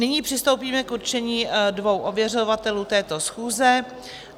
Nyní přistoupíme k určení dvou ověřovatelů této schůze.